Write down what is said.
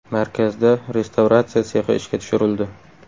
Markazda restavratsiya sexi ishga tushirildi.